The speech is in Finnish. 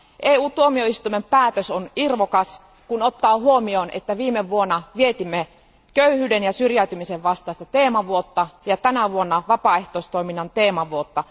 EU tuomioistuimen päätös on irvokas, kun ottaa huomioon, että viime vuonna vietimme köyhyyden ja syrjäytymisen vastaista teemavuotta ja tänä vuonna vietämme vapaaehtoistoiminnan teemavuotta.